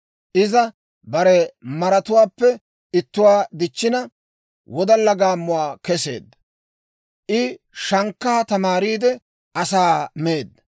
Iza bare maratuwaappe ittuwaa dichchina, wodalla gaammuwaa keseedda. I shankkaa tamaariide, asaa meedda.